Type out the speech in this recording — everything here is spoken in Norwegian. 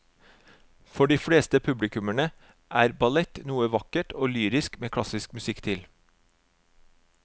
For de fleste publikummere er ballett noe vakkert og lyrisk med klassisk musikk til.